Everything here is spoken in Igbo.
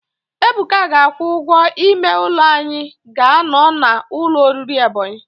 Ebuka ga-akwụ ụgwọ ime ụlọ anyị ga-anọ n' ụlọ oriri Ebonyi.